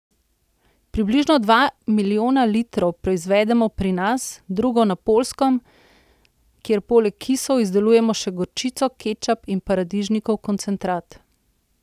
Približno dva milijona litrov proizvedemo pri nas, drugo na Poljskem, kjer poleg kisov izdelujemo še gorčico, kečap in paradižnikov koncentrat.